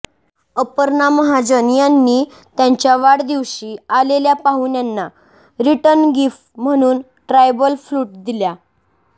अपर्णा महाजन यांनी त्यांच्या वाढदिवशी आलेल्या पाहुण्यांना रिटर्नगिफ्ट म्हणून ट्रायबल फ्लूट दिल्या